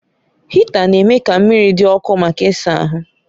Hịta na-eme ka mmiri dị ọkụ maka ịsa ahụ